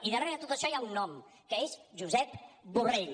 i darrere d’això hi ha un nom que és josep borrell